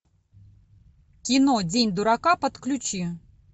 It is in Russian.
кино день дурака подключи